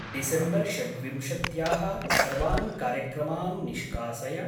December षड्विंशत्याः सर्वान् कार्यक्रमान् निष्कासय।